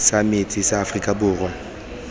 sa metsi sa aforika borwa